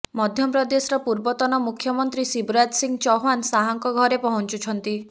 ମଧ୍ୟ ପ୍ରଦେଶର ପୂର୍ବତନ ମୁଖ୍ୟମନ୍ତ୍ରୀ ଶିବରାଜ ସିଂହ ଚୌହାନ ଶାହାଙ୍କ ଘରେ ପହଞ୍ଚୁଛନ୍ତି